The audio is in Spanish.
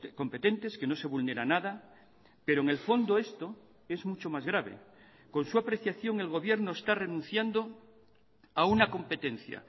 competentes que no se vulnera nada pero en el fondo esto es mucho más grave con su apreciación el gobierno está renunciando a una competencia